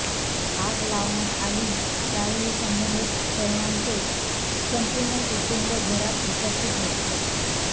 आग लावण्यात आली त्यावेळी संबंधित तरुणाचे संपूर्ण कुटुंब घरात उपस्थित होते